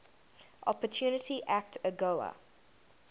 opportunity act agoa